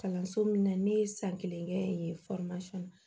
Kalanso min na ne ye san kelen kɛ yen na